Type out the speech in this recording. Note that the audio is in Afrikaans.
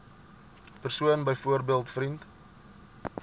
persoon byvoorbeeld vriend